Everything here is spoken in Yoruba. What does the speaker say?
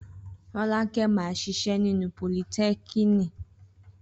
Rọ́lákẹ́ máa ṣiṣẹ́ nínú politẹ́kiniki